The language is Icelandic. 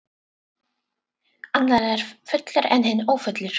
Annar er fullur en hinn ófullur.